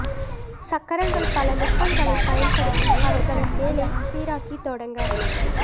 சக்கரங்கள் பல நுட்பங்களை பயன்படுத்தி அவர்களின் வேலை சீராக்கி தொடங்க